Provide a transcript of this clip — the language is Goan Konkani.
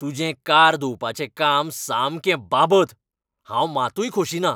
तुजें कार धुवपाचें काम सामकें बाबत, हांव मातूय खोशी ना.